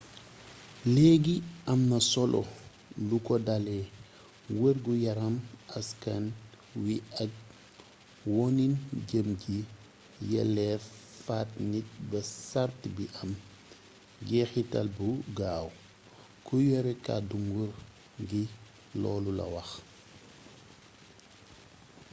leegi am na solo lu ko dalé wergu yaaram askan wi ak wonin jëm ci yelleef faat nit ba sart bi am jexitaal bu gaaw ku yore kàddu nguur gi loolu la wax